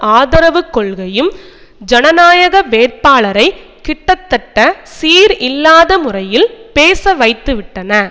ஆதரவு கொள்கையும் ஜனநாயக வேட்பாளரைக் கிட்டத்தட்ட சீர் இல்லாத முறையில் பேச வைத்துவிட்டன